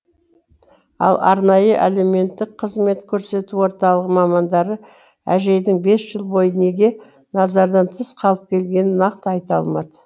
ал арнайы әлеуметтік қызмет көрсету орталығы мамандары әжейдің бес жыл бойы неге назардан тыс қалып келгенін нақты айта алмады